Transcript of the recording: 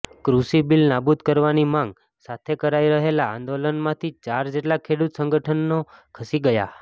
કૃષિબીલ નાબૂદ કરવાની માંગ સાથે કરાઈ રહેલા આંદોલનમાંથી ચાર જેટલા ખેડૂત સંગઠનો ખસી ગયા